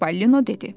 Çipollino dedi.